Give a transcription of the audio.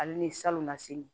Ale ni salonnasini